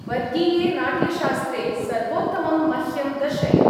वर्गीये नाट्यशास्त्रे सर्वोत्तमं मह्यं दर्शय।